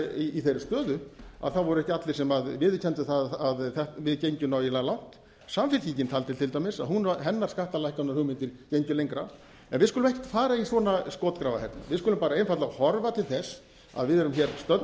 í þeirri stöðu að það voru ekki allir sem viðurkenndu að við gengjum nægilega langt samfylkingin taldi til dæmis að hennar skattalækkunarhugmyndir gengju lengra við skulum ekki fara í svona skotgrafahernað við skulum bara einfaldlega horfa til þess að við